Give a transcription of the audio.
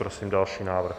Prosím další návrh.